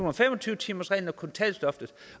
og fem og tyve timersreglen